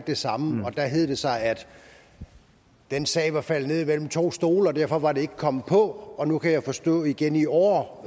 det samme og der hed det sig at den sag var faldet ned mellem to stole og derfor var den ikke kommet på nu kan jeg forstå at igen i år